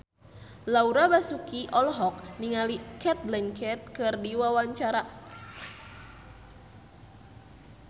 Laura Basuki olohok ningali Cate Blanchett keur diwawancara